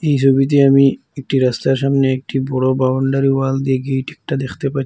এই ছবিতে আমি একটি রাস্তার সামনে একটি বড় বাউন্ডারি ওয়াল দিয়ে গেট একটা দেখতে পা--